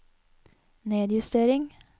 nedjustering